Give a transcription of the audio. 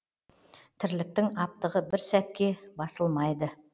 тірліктің аптығы бір сәтке басылмайды